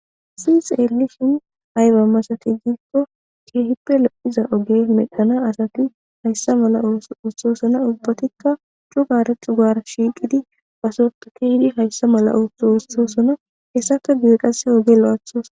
sii xeelli shin ayba masatijikko keehipe lo7iza oge medhana asati hayssa mala s uthosona ubbatikka cugaaretu gaar shiiqidi pasota kehydi hayssa mala utsosona hessaka giiqase oge lo7athos